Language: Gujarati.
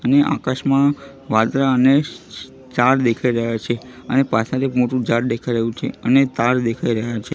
ને આકાશમાં વાદળા અને સ્ટાર દેખાઇ રહ્યા છે અને પાછડ એક મોટુ ઝાડ દેખાઈ રહ્યુ છે અને તાર દેખાઈ રહ્યા છે.